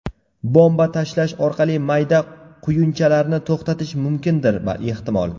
Bomba tashlash orqali mayda quyunchalarni to‘xtatish mumkindir ehtimol.